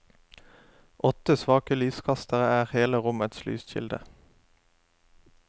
Åtte svake lyskastere er hele rommets lyskilde.